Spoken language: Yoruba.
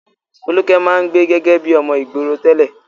Folúkẹ́ máa ń gbé gẹ́gẹ́ bí ọmọ ìgboro tẹ́lẹ̀.